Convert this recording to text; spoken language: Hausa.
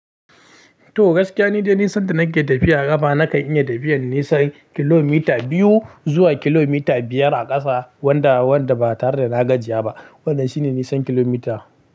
To gaskiya ni dai nisan da na ke tafiya a kafa na kan iya tafiyar nisan kilomita biyu zuwa kilomita biyar a ƙasa wanda, wanda ba tare da na gajiya ba. Wannan shi ne nisan kilomita.